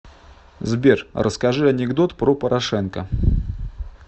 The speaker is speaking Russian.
сбер расскажи анекдот про порошенко